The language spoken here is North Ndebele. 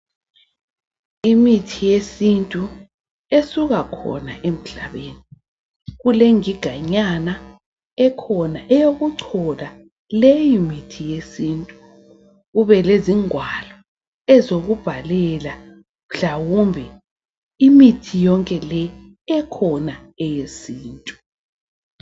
Imithi yesintu esuka khona emhlabeni kulengiga nyana ekhona eyokuchola leyi mithi yesintu. Kube lezingwalo ezokubhalela mhlawumbe imithi yonke le ekhona eyesintu.